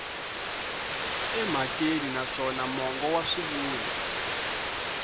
emhakeni naswona mongo wa swivulwa